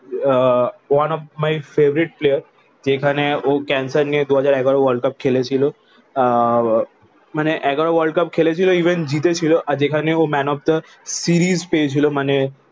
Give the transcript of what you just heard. Ah one of my favorite player. এখানে ও cancer নিয়ে দু হাজার এগারো ওয়ার্ল্ড কাপ খেলেছিল। আহ মানে এগারো ওয়ার্ল্ড কাপ খেলেছিল ইভেন জিতে ছিল। আর যেখানে ও man of the series পেয়েছিল। মানে